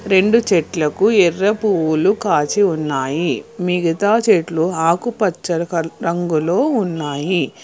రెండు చెట్లకు ఎర్ర పువ్వులు కాచి ఉన్నాయి మిగతా చెట్లు ఆకుపచ్చల రంగులో ఉన్నాయి.